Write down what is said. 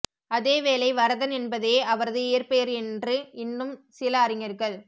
அதேவேளை வரதன் என்பதே அவரது இயற்பெயர் என்று இன்னும் சில அறிஞர்கள்